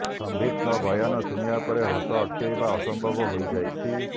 ସମ୍ବିତଙ୍କ ବୟାନ ଶୁଣିବା ପରେ ହସ ଅଟକାଇବା ଅସମ୍ଭବ ହୋଇ ଯାଇଛି